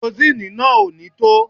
Kerosini náà ò ní tó